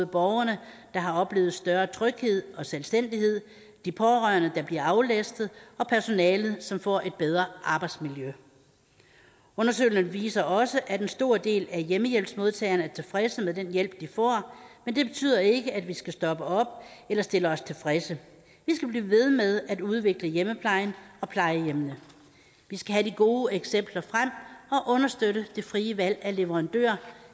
borgerne der har oplevet større tryghed og selvstændighed de pårørende der bliver aflastet og personalet som får et bedre arbejdsmiljø undersøgelsen viser også at en stor del af hjemmehjælpsmodtagerne er tilfredse med den hjælp de får men det betyder ikke at vi skal stoppe op eller stille os tilfredse vi skal blive ved med at udvikle hjemmeplejen og plejehjemmene vi skal have de gode eksempler frem og understøtte det frie valg af leverandører